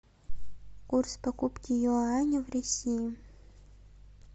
курс покупки юаня в россии